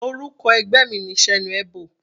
Orúkọ ẹgbẹ́ mi ni Senuebo.